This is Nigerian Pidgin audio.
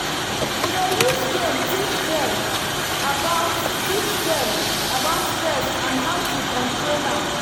we dey use game teach dem about teach dem about pests and how to control am.